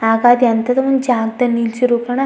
ಆಗ ಅದು ಎಂತದೋ ಒಂದು ಜಾಗದಲ್ಲಿ ನಿಲ್ಸಿರೋ ಕಣ --